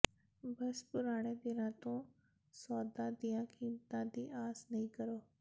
ਬਸ ਪੁਰਾਣੇ ਦਿਨਾਂ ਤੋਂ ਸੌਦੇ ਦੀਆਂ ਕੀਮਤਾਂ ਦੀ ਆਸ ਨਹੀਂ ਕਰੋ